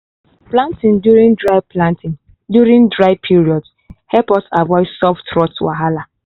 planting during dry planting during dry period help us avoid soft rot wahala.